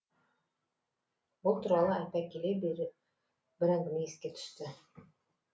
бұл туралы айта келе бер бір әңгіме еске түсті